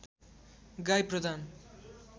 गाई प्रदान